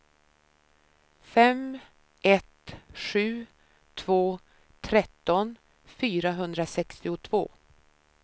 fem ett sju två tretton fyrahundrasextiotvå